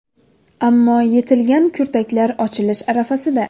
Ammo yetilgan kurtaklar ochilish arafasida.